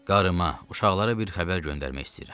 Qarıma, uşaqlara bir xəbər göndərmək istəyirəm.